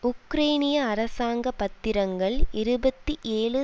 உக்ரைனிய அரசாங்க பத்திரங்கள் இருபத்தி ஏழு